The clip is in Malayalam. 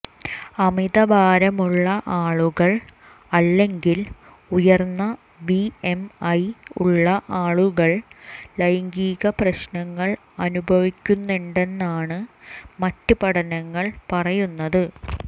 അമിതഭാരമുള്ള ആളുകൾ അല്ലെങ്കിൽ ഉയർന്ന ബിഎംഐ ഉള്ള ആളുകൾ ലൈംഗിക പ്രശ്നങ്ങൾ അനുഭവിക്കുന്നുണ്ടെന്നാണ് മറ്റ് പഠനങ്ങൾ പറയുന്നത്